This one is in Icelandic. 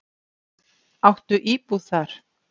Áttu íbúð þar?